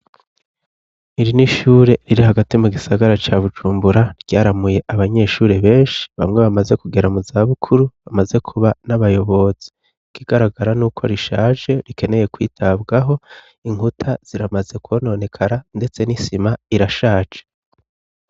Iri n'ishure riri hagati mugisagara ca bujumbura bujumbura ryaramuye abanyeshuri benshi bamwe bamaze kugera muzabukuru bamaze kuba n'abayobozi. Ikigaragara n'uko rishaje rikeneye kwitabwaho, inkuta ziramaze kwononekara ndetse n'isima irashaje.